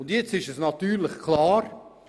Und es ist natürlich klar: